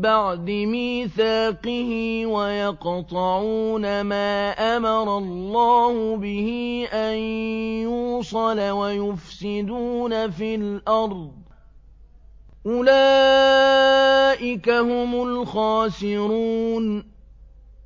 بَعْدِ مِيثَاقِهِ وَيَقْطَعُونَ مَا أَمَرَ اللَّهُ بِهِ أَن يُوصَلَ وَيُفْسِدُونَ فِي الْأَرْضِ ۚ أُولَٰئِكَ هُمُ الْخَاسِرُونَ